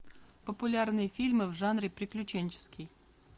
популярные фильмы в жанре приключенческий